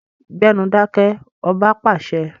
Gbẹ́nu dákẹ́! Ọba pàṣẹ.